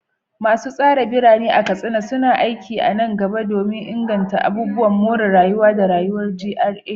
Masu tsara birane a Katsina suna aiki a nan gaba don inganta abubuwan more rayuwa da rayuwar GRA.